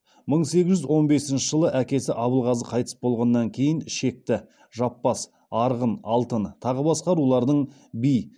мың сегіз жүз он бесінші жылы әкесі абылғазы қайтыс болғаннан кейін шекті жаппас арғын алтын тағы басқа рулардың би